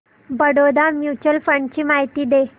Baroda mutual fund ची माहिती दे